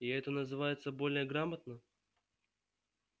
и это называется более грамотно